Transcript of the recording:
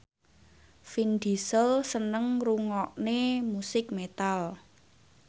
Vin Diesel seneng ngrungokne musik metal